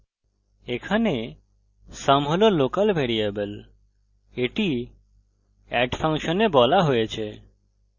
এখানে sum হল local variable এটি add ফাংশনে বলা হয়েছে